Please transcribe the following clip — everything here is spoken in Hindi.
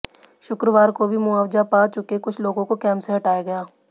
शुक्रवार को भी मुआवजा पा चुके कुछ लोगों को कैंप से हटाया गया